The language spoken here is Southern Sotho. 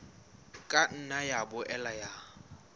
ka nna ya boela ya